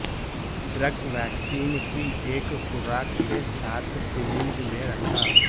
drug vaccine کی ایک خوراک کے ساتھ سرنج میں رکھا